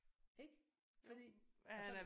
Ik? Fordi og så